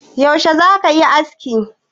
Yaushe za ka yi aski?